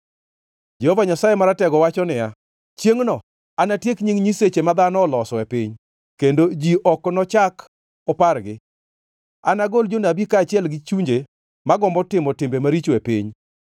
Jehova Nyasaye Maratego wacho niya, “Chiengʼno anatiek nying nyiseche ma dhano oloso e piny, kendo ji ok nochak opargi. Anagol jonabi kaachiel gi chunje ma gombo timo timbe maricho e piny.